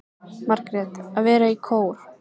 Margrét: Að vera í kór.